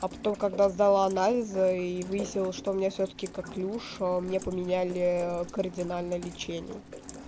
а потом когда сдала анализы и выяснилось что у меня всё-таки коклюш мне поменяли кардинально лечение